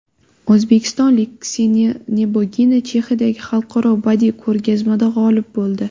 O‘zbekistonlik Kseniya Nebogina Chexiyadagi Xalqaro badiiy ko‘rgazmada g‘olib bo‘ldi.